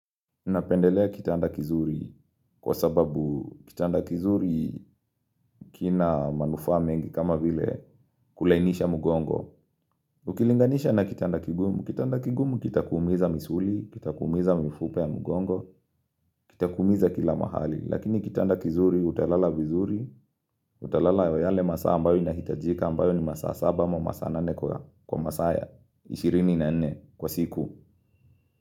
Napendelea kitanda kizuri kwa sababu kitanda kizuri kina manufaa mengi kama vile kulainisha mugongo. Ukilinganisha na kitanda kigumu. Kitanda kigumu kita kuumiza misuli, kita kuumiza mifupa ya mugongo, kita kuumiza kila mahali. Lakini kitanda kizuri utalala vizuri, utalala yo yale masaa ambayo inahitajika ambayo ni masaa saba ma masaa nane kwa masaya 24 kwa siku.